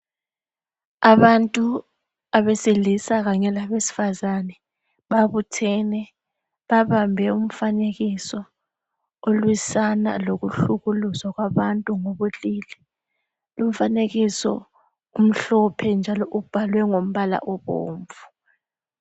Abantu abesilisa kanye labesifazana babuthane babambe umfanekiso olwisana lokuhlukuluzwa kwabantu ngobulili , lumfanekiso umhlophe njalo ubhalwe ngamabala abomvu